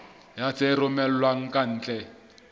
ya tse romellwang ka ntle